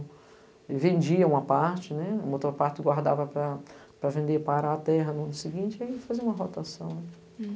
Ele vendia uma parte ne, a outra parte ele guardava para vender para a terra no ano seguinte e aí ele fazia uma rotação.